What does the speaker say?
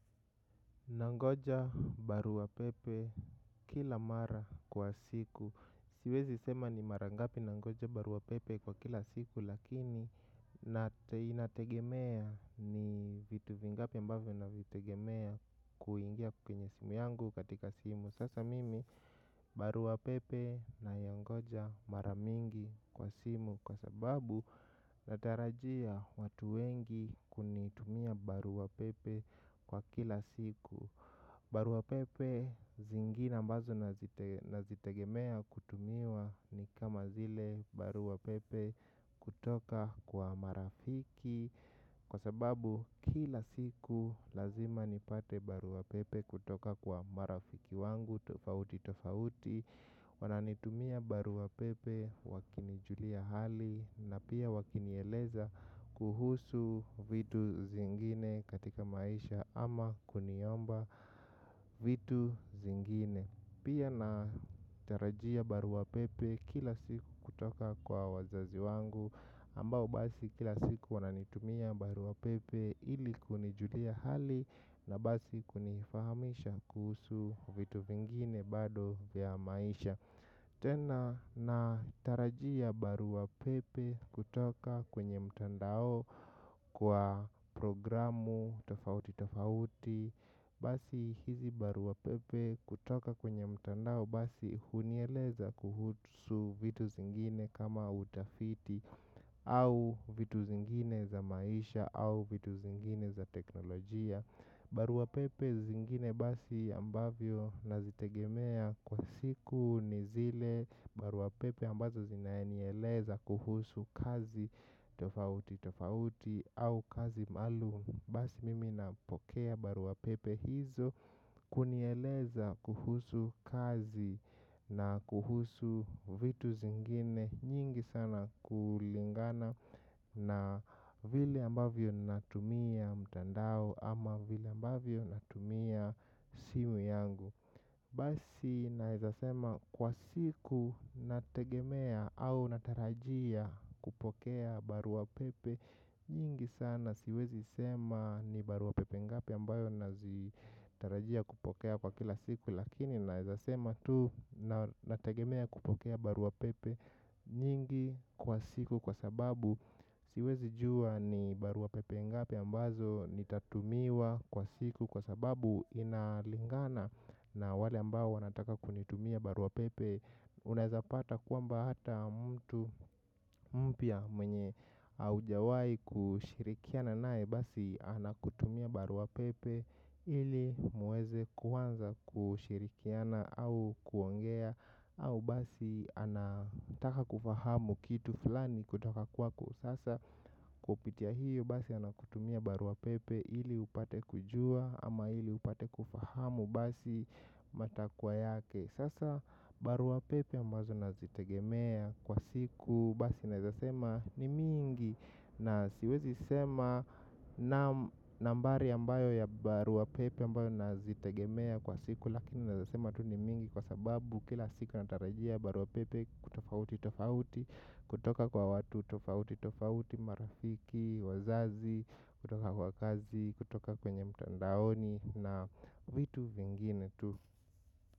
Nangoja barua pepe kila mara kwa siku. Siwezi sema ni mara ngapi nangoja barua pepe kwa kila siku lakini na inategemea ni vitu vingapi ambavyo na vitegemea kuingia kuwenye simu yangu katika simu. Sasa mimi barua pepe naingoja mara mingi kwa simu kwa sababu natarajia watu wengi kunitumia barua pepe kwa kila siku. Barua pepe zingine ambazo nazitegemea kutumiwa ni kama zile barua pepe kutoka kwa marafiki. Kwa sababu kila siku lazima nipate barua pepe kutoka kwa marafiki wangu tofauti tofauti. Wananitumia barua pepe wakinijulia hali na pia wakinieleza kuhusu vitu zingine katika maisha ama kuniomba vitu zingine. Pia natarajia barua pepe kila siku kutoka kwa wazazi wangu ambao basi kila siku wananitumia barua pepe ili kunijulia hali na basi kunifahamisha kuhusu vitu vingine bado vya maisha. Tena natarajia barua pepe kutoka kwenye mtandao kwa programu tofauti tofauti. Basi hizi barua pepe kutoka kwenye mtandao basi hunieleza kuhusu vitu zingine kama utafiti au vitu zingine za maisha au vitu zingine za teknolojia. Baruapepe zingine basi ambavyo nazitegemea kwa siku nizile baruapepe ambazo zinanieleza kuhusu kazi tofauti tofauti au kazi maalum. Basi mimi napokea barua pepe hizo kunieleza kuhusu kazi na kuhusu vitu zingine nyingi sana kulingana na vile ambavyo natumia mtandao ama vile ambavyo natumia simu yangu. Basi naeza sema kuwa siku nategemea au natarajia kupokea barua pepe. Nyingi sana siwezi sema ni barua pepe ngapi ambayo nazitarajia kupokea kwa kila siku. Lakini naezasema tu nategemea kupokea barua pepe nyingi kwa siku kwa sababu siwezi jua ni barua pepe ngapi ambazo nitatumiwa kwa siku kwa sababu inalingana na wale ambao wanataka kunitumia barua pepe. Unaezapata kwamba hata mtu mpya mwenye hujawahi kushirikiana naye basi anakutumia barua pepe. Hili mweze kuanza kushirikiana au kuongea au basi anataka kufahamu kitu fulani kutaka kwako sasa. Kupitia hiyo basi anakutumia barua pepe hili upate kujua ama hili upate kufahamu basi matakwa yake. Sasa baruapepe ambazo nazitegemea kwa siku basi nazasema ni mingi na siwezi sema nambari ambayo ya baruapepe ambayo nazitegemea kwa siku lakini nazasema tu ni mingi kwa sababu kila siku natarajia baruapepe kutofauti tofauti kutoka kwa watu tofauti tofauti marafiki wazazi kutoka kwa kazi kutoka kwenye mtandaoni na vitu vingine tu.